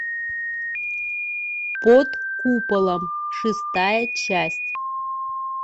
под куполом шестая часть